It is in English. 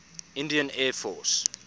indian air force